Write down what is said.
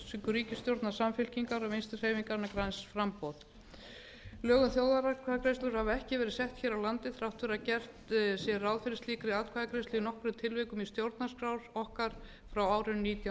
ríkisstjórnar samfylkingar og vinstri hreyfingarinnar græns framboðs lög um þjóðaratkvæðagreiðslur hafa ekki verið settar hér á landi þrátt fyrir að gert sé ráð fyrir slíkri atkvæðagreiðslu í nokkrum tilvikum í stjórnarskrá okkar frá árinu nítján